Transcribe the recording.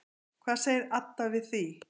Hvað segir Adda við því?